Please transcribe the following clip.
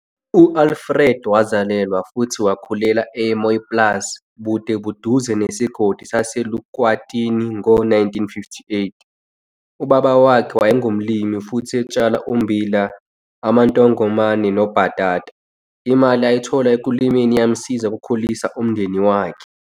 UAlfred wazalelwa futhi wakhulela eMooiplaas bude buduze nesigodi saseElukwatini ngo-1958. Ubaba wakhe wayengumlimi futhi etshala ummbila, amantongomane nobhatata. Imali ayithola ekulimeni iyamsiza ukukhulisa umndeni wakhe.